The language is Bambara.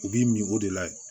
U b'i mi o de layɛ